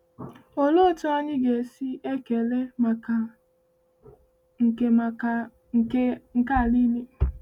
“Olee otú anyị ga-esi ekele maka nke maka nke a niile!”